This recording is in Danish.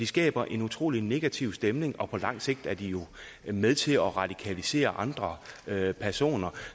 skaber en utrolig negativ stemning og på lang sigt er de jo med til at radikalisere andre personer